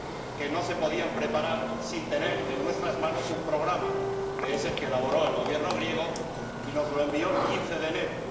que no se podían preparar sin tener en nuestras manos un programa, que es el que elaboró el Gobierno griego y nos envió el 15 de enero.